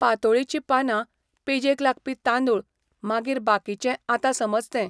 पातोळेची पानां, पेजेक लागपी तांदूळ, मागीर बाकीचें आतां समज तें